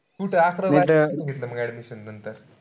कुठं अकरावी-बारावीला कुठं घेतली मंग admission नंतर?